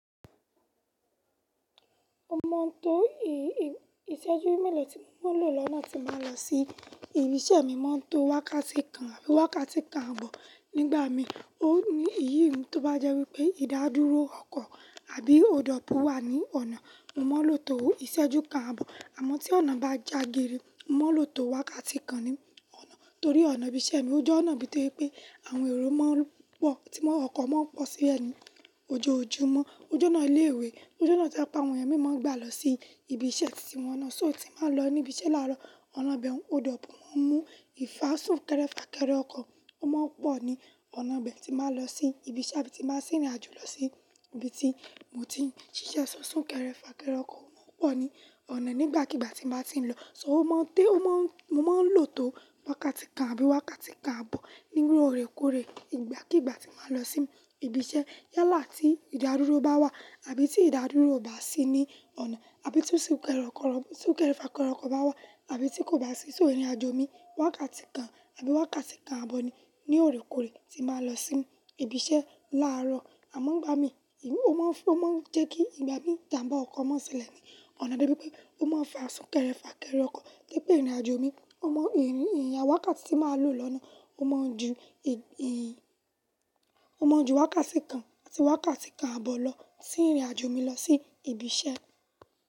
O máa ń to ìṣẹ́jú mélòó tí mo máa lò lọ́nà tí n ba n lọ sí ibi iṣẹ́ mi. Mo máa ń to wákàtí kan àbí wákàtí kan àbọ̀. Nígbà mi, òní èyí ni tó bá jẹ́ wípé ìdádúró ọkọ̀ àbí òdọ̀pù wà ní ọ̀nà, mo máa lò to ìṣẹ́jú kan àbọ̀. Àmọ́ tí ọ̀nà bá jagiri, mo máa lò to wákàtí kan ní ọ̀nà torí ọ̀nà ibi iṣẹ́ mi, ó jẹ́ ọ̀nà ibí tó je wipé àwọn èrò máa ń pọ̀ tí ọkọ̀ máa ń pọ̀ sí le ni ojoojúmọ́. Ó jẹ́ ọ̀nà ilé ìwé, ó jẹ́ ọ̀nà tí opo àwọn ẹeyan mi ma n gbà lọ sí ibi iṣẹ́ tí wọ́n ń lọ. So tí màá lọ níbi iṣẹ́ láàárọ̀, ọ̀nà bẹ́ẹ̀ òdọ̀pù máa ń mú ìfásùn kẹ́rẹ́ fà kẹ́rẹ́ ọkọ̀, ó máa ń pọ̀ ní ọ̀nà bẹ́ẹ̀ tí màá lọ sí ibi iṣẹ́ àbí tí màá sì rìnrìn àjò lọ sí ibi tí mo ti ń ṣiṣẹ́. Si sún kẹ́rẹ́ fà kẹ́rẹ́ ọkọ̀ máa ń pọ̀ ní ọ̀nà nígbàkigbà tí n ba ti ń lọ. So mo máa ń lo tó wákàtí kan àbí wákàtí kan àbọ̀ loore kóòrè ìgbàkígbà tí màá lọ sí ibi iṣẹ́ yálà tí ìdádúró bá wà àbí tí ìdádúró ò bá sí ní ọ̀nà àbí tí sún kẹ́rẹ́ fà kẹ́rẹ́ ọkọ̀ bá wà àbí tí kò bá sí. So ìrìnàjò mi wákàtí kan àbí wákàtí kan àbọ̀ ni ní ọ̀rẹ́ kóòrè tí n ba n lọ sí ibi iṣẹ́ láàárọ̀. Àmọ́ ìgbà mi, òun máa ń fún, ó máa ń jẹ́ kí ìgbà mi ìjàmbá ọkọ̀ má n se lẹ́ ní ọ̀nà de bí pé ó máa ń fà sún kẹ́rẹ́ fà kẹ́rẹ́ ọkọ̀. Gẹ́gẹ́ bí ìrìnàjò mi, mo mọ ìrìn ìrìn wákàtí tí màá lò lọ́nà, o ma nju wákàtí kan àbí wákàtí kan àbọ̀ lọ sí ìrìnàjò mi lọ sí ibi iṣẹ́.